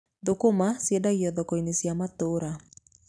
Thũkũma ciendagio thoko-inĩ cia matũũra.